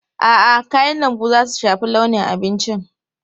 A'a, kayan lambu za su shafi launin abincin.